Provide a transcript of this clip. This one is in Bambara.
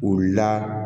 U la